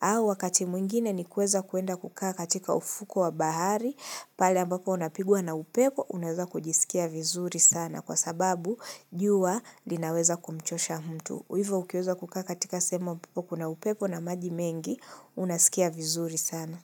Au wakati mwingine ni kuweza kuenda kukaa katika ufuko wa bahari pala ambapo unapigua na upeko unweza kujisikia vizuri sana kwa sababu jua linaweza kumchosha mtu. Hivyo ukiweza kukaka katika sehemu ambapo kuna upepoo na maji mengi, unasikia vizuri sana.